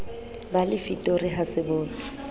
ba lefitori ha se bonwe